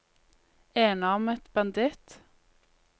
enarmet banditt